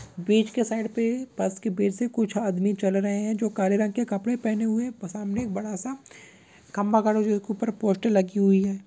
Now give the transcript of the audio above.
बीच के साइड पे बस के कुछ आदमी चल रहे हैं जो काले रंग के कपड़े पहने हुए हैं। प सामने बड़ा सा खम्भा गड़ा हुआ है जिसके ऊपर पोस्टर लगी हुई है।